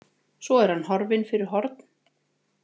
Svo er hann horfinn fyrir horn.